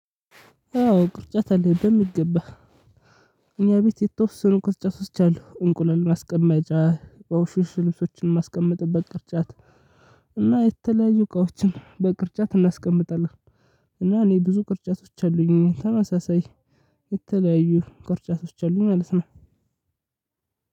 አዎ ቅርጫት አለኝ በሚገባ። እኛ ቤት የተወሰኑ ቅርጫቶች አሉ እንቁላል ማስቀመጫ በቆሸሹ ልሶችን ማስቀምጥበት ቅርጫት እና የተለያዩ እቃዎችን በቅርጫት እናስቀምጣለን። እና እኔ ብዙ ቅርጫቶች አሉኝ። ተመሳሳይ የተለያዩ ቅርጫቶች አሉኝ ማለት ነው።